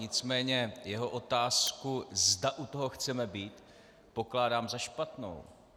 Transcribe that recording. Nicméně jeho otázku, zda u toho chceme být, pokládám za špatnou.